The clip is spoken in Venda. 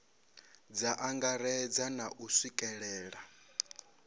dza angaredza na u swikelelea